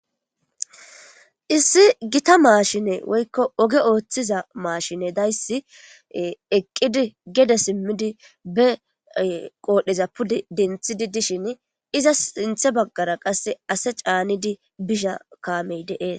Issi gita maashine woykko oge ooththiza maashine dayssi eqqidi gede simmidi be qoodhdheza pude denthidi dishin iza sinthe baggara qasse ase caanidi bisha kaamey de'ees.